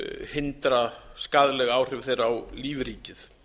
hindra skaðleg áhrif þeirra á lífríkið